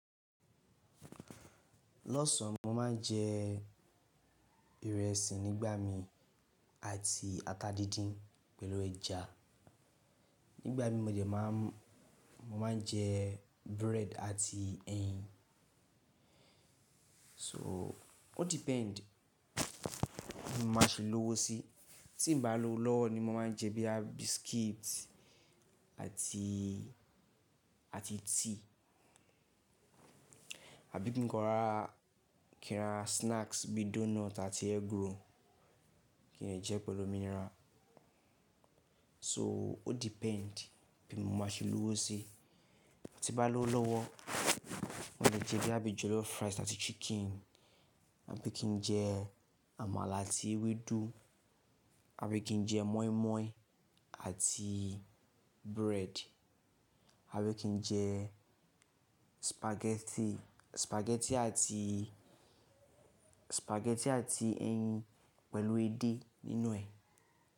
Lọ́sàn, mo máa ń jẹ ìrẹsì nígbà mii àti ata díndín pẹ̀lú ẹja. Nígbà mí mọ̀ de, máa ń jẹ búrẹ́ẹ́dì àti ẹyin. So, ó depend bí mo máa ṣe lówó sí. Tí n bá lówó lọ́wọ́ ni mo máa ń jẹ bíi biscuit àti, àti tea. Àbí kí n ra snacks bí donut àti egg roll, kí n jẹ pẹ̀lú mineral. So, ó depend bí mo máa ṣe lówó sí. Ti bá lówó lọ́wọ́, mo máa jẹ bíi àbí jollof rice àti chicken, àbí kí n jẹ àmàlà àti ewedú, àbí kí n jẹ mọ́ímọ́í àti búrẹ́ẹ́dì, àbí kí n jẹ spaghetti, spaghetti àti, spaghetti àti ẹyin pẹ̀lú ede nínú ẹ̀.